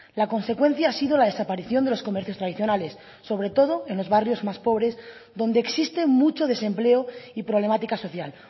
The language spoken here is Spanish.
la consecuencia ha sido la desaparición de los comercios tradicionales sobre todo en los barrios más pobres donde existe mucho desempleo y problemática social